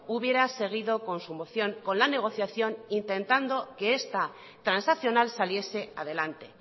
hubiera seguido con su moción con la negociación intentando que esta transaccional saliese adelante